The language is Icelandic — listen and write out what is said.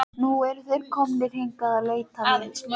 Núna eru þeir komnir hingað að leita mín.